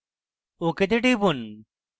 ok তে টিপুন